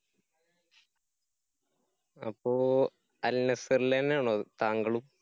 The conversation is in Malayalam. അപ്പോ അല്‍ നസ്സര്‍ലന്നാണോ താങ്കളും?